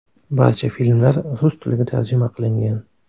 Barcha filmlar rus tiliga tarjima qilingan.